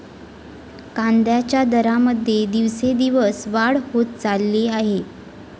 कांद्याच्या दरामध्ये दिवसेंदिवस वाढ होत चालली आहे.